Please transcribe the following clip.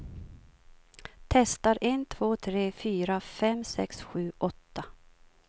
Testar en två tre fyra fem sex sju åtta.